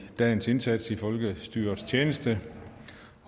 dagens indsats i folkestyrets tjeneste